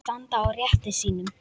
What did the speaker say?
Standa á rétti sínum?